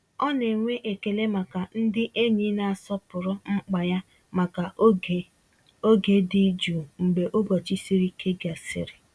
Ọ na-enwe ekele maka ndị enyi na-asọpụrụ mkpa ya maka oge oge dị jụụ mgbe ụbọchị siri ike gasịrị.